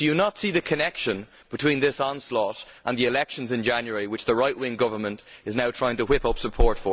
Do you not see the connection between this onslaught and the elections in January in view of which the right wing government is now trying to whip up support?